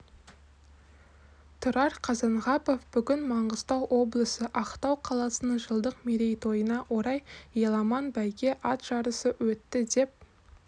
тұрар қазанғапов бүгін маңғыстау облысы ақтау қаласының жылдық мерейтойына орай аламан бәйге ат жарысы өтті деп